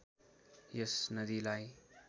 यस नदीलाई